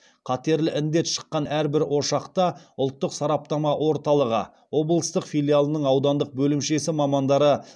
қатерлі індет шыққан әрбір ошақта ұлттық сараптама орталығы облыстық филиалының аудандық бөлімшесі мамандары